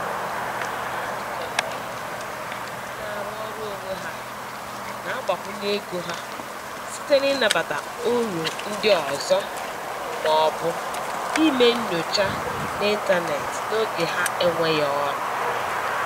Ọtụtụ ndị na-arụ ọrụ onwe ha na-agbakwunye ego ha site n’ịnabata oru ndị ọzọ ma ọ bụ ime nnyocha n’ịntanetị n’oge ha enweghị ọrụ